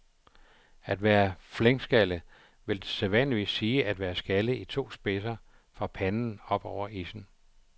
At være flenskaldet vil sædvanligvis sige at være skaldet i to spidser fra panden op over issen.